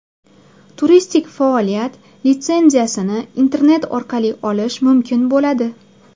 Turistik faoliyat litsenziyasini internet orqali olish mumkin bo‘ladi.